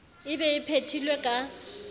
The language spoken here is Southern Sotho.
e be e phethilwe ka